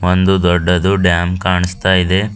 ಒಂದು ದೊಡ್ಡದು ಡ್ಯಾಮ್ ಕಾಣಿಸ್ತಾ ಇದೆ.